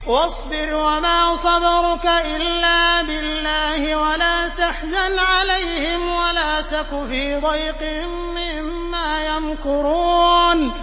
وَاصْبِرْ وَمَا صَبْرُكَ إِلَّا بِاللَّهِ ۚ وَلَا تَحْزَنْ عَلَيْهِمْ وَلَا تَكُ فِي ضَيْقٍ مِّمَّا يَمْكُرُونَ